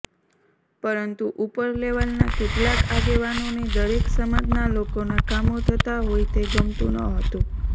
પરંતુ ઉપર લેવલના કેટલાંક આગેવાનોને દરેક સમાજના લોકોના કામો થતા હોઈ તે ગમતુ ન હતુ